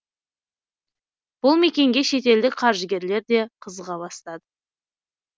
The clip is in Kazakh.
бұл мекенге шетелдік қаржыгерлер де қызыға бастады